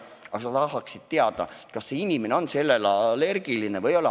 Aga sa tahaksid enne teada, kas see inimene on selle rohu vastu allergiline või ei ole.